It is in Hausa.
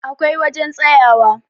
akwai wajen tsayawa